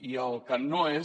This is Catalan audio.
i el que no és